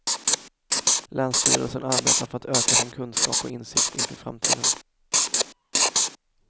Länsstyrelsen arbetar för att öka sin kunskap och insikt inför framtiden.